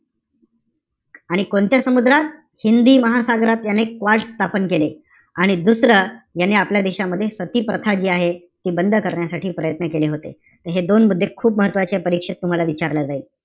आणि कोणत्या समुद्रात? हिंदी महासागरात अनेक वॉर्ड स्थापन केले. आणि दुसरं याने आपल्या देशामध्ये सतीप्रथा जी आहे, ती बंद करण्यासाठी प्रयत्न केले होते. हे दोन मुद्दे खूप महत्वाचेय. परीक्षेत तुम्हला विचारलं जाईल.